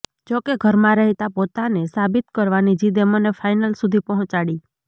જોકે ઘરમાં રહેતા પોતાને સાબિત કરવાની જિદે મને ફાઈનલ સુધી પહોંચાડી